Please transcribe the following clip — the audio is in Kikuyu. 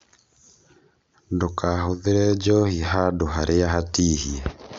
Ndũkahũthĩre njohi hand harĩa hatihie